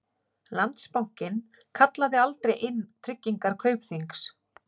Landsbankinn kallaði aldrei inn tryggingar Kaupþings